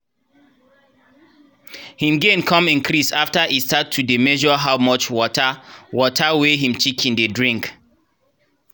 him gain come increase after e start to dey measure how much water water wey him chicken dey drink.